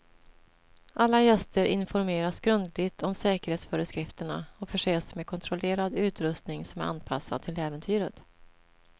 Alla gäster informeras grundligt om säkerhetsföreskrifterna och förses med kontrollerad utrustning som är anpassad till äventyret.